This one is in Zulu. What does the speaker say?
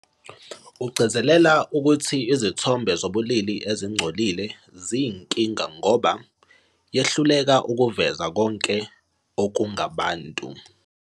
Ugcizelela ukuthi izithombe zobulili ezingcolile ziyinkinga ngoba "yehluleka ukuveza konke okungabantu".